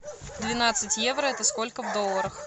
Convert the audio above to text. двенадцать евро это сколько в долларах